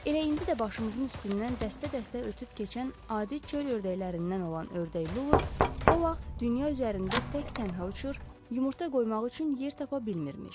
Elə indi də başımızın üstündən dəstə-dəstə ötüb keçən adi çöl ördəklərindən olan ördək luvr o vaxt dünya üzərində tək-tənha uçur, yumurta qoymaq üçün yer tapa bilmirmis.